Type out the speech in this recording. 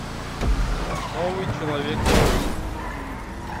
новый человек паук